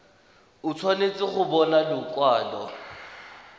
o tshwanetse go bona lekwalo